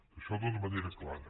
això d’una manera clara